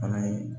Fana ye